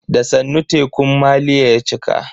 Da sannu tekun maliya ya cika.